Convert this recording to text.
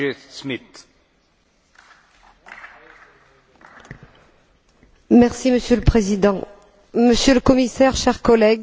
Monsieur le Président, Monsieur le Commissaire, chers collègues, le rapport Kirilov sera voté dans quelques semaines et je m'en réjouis car il y a urgence.